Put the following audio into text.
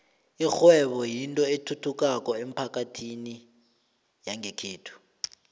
ikghwebo kuyinto ethuthukako emphakathini yangekhethu